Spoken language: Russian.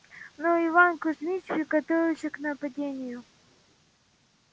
но иван кузмич приготовился к нападению